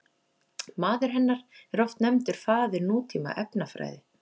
Maður hennar er oft nefndur faðir nútíma efnafræði.